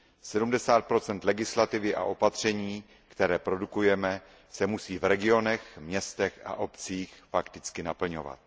Sedmdesát procent legislativy a opatření, které produkujeme, se musí v regionech, městech a obcích fakticky naplňovat.